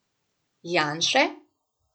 Janše?